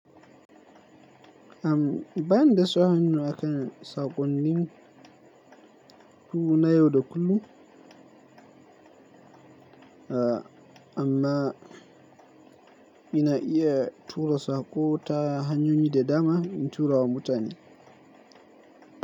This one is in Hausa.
Am, ba ni da sa hannu a kan saƙonnin mu na yau da kullum. A amma ina iya tura saƙo ta hanyoyi da dama in tura wa mutane.